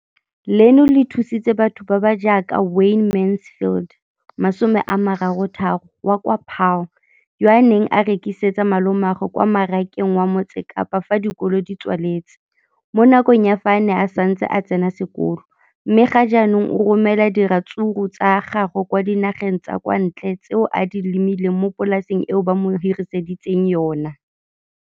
Leno le thusitse batho ba ba jaaka Wayne Mansfield, 33, wa kwa Paarl, yo a neng a rekisetsa malomagwe kwa Marakeng wa Motsekapa fa dikolo di tswaletse, mo nakong ya fa a ne a santse a tsena sekolo, mme ga jaanong o romela diratsuru tsa gagwe kwa dinageng tsa kwa ntle tseo a di lemileng mo polaseng eo ba mo hiriseditseng yona.